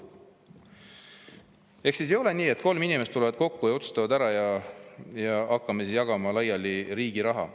Ei ole nii, et kolm inimest tulevad kokku ja otsustavad ära, ja hakkame siis riigi raha laiali jagama.